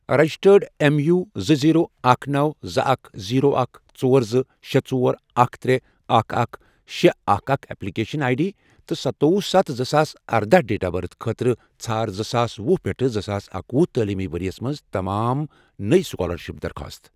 registered M, U, زٕ، zero, اکھ، نو، زٕ، اکھ، زیٖرو، اکھ، ژور، زٕ، شے، ژور، اکھ، ترے، اکھ، اکھ، شے، اکھ، اکھ، ایپلکیشن آٮٔۍ ڈی تہٕ سَتووُہ ستھَ زٕساس اردہَ ڈیٹ آف بٔرتھ خٲطرٕ ژھار زٕساس وُہ پیٹھ زٕساس اکَوہُ تعلیٖمی ورۍ یَس مَنٛز تمام نٔۍ سُکالرشپ درخواستہٕ